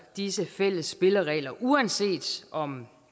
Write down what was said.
disse fælles spilleregler uanset om